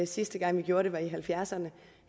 sidste gang vi gjorde det var i nitten halvfjerdserne